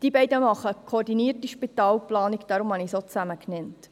Die beiden Kantone haben eine koordinierte Spitalplanung, weshalb ich sie zusammen nenne.